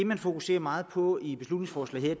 man fokuserer meget på i beslutningsforslaget